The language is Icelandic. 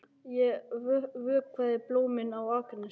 Ég vökvaði blómin á Akranesi.